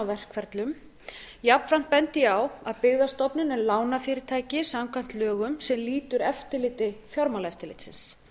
verkferlum jafnframt bendi ég á að byggðastofnun er lánafyrirtæki samkvæmt lögum sem lýtur eftirliti fjármálaeftirlitsins